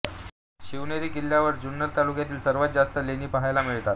शिवनेरी किल्ल्यावर जुन्नर तालुक्यातील सर्वात जास्त लेणी पहायला मिळतात